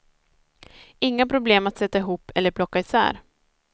Inga problem att sätta ihop eller plocka isär.